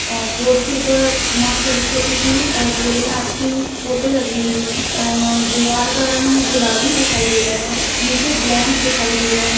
और बोर्ड के ऊपर माँ सरस्वती की और भोलेनाथ की फोटो लगी हुई है और दीवार का रंग गुलाबी दिखाई दे रहा है नीचे ब्लैंक दिखाई दे रहा है।